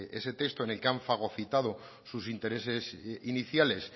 ese texto en el que han fagocitado sus intereses iniciales